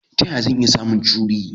Ta yaya zan iya samun cowry?